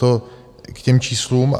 To k těm číslům.